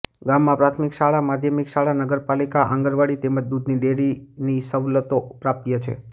ગામમાં પ્રાથમિક શાળા માધ્યમિક શાળા નગરપાલિકા આંગણવાડી તેમજ દૂધની ડેરીની સવલતો પ્રાપ્ય છે